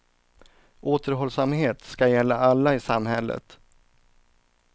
Återhållsamhet ska gälla alla i samhället.